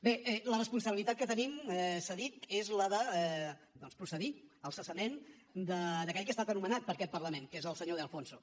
bé la responsabilitat que tenim s’ha dit és la de doncs procedir al cessament d’aquell que ha estat nomenat per aquest parlament que és el senyor de alfonso